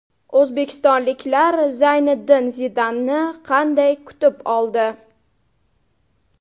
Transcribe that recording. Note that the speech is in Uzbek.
O‘zbekistonliklar Zayniddin Zidanni qanday kutib oldi?